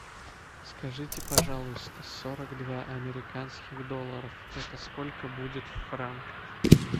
скажите пожалуйста сорок два американских долларов это сколько будет в франках